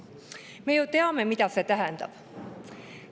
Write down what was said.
Me ju teame, mida see tähendab.